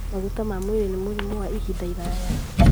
Maguta ma mwĩrĩ na mĩrimũ ya ihinda iraya;